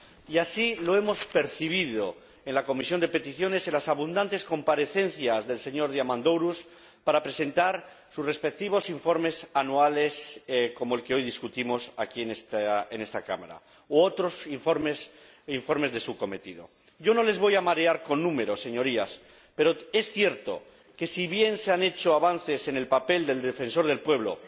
Y así lo hemos percibido en la Comisión de Peticiones, en las abundantes comparecencias del señor Diamandouros para presentar sus respectivos informes anuales, como el que hoy examinamos aquí en esta Cámara, u otros informes de su cometido. No les voy a marear con números, Señorías, pero es cierto que, si bien se han hecho avances en el papel del Defensor del Pueblo,